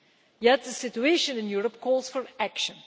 Yet the situation in Europe calls for action.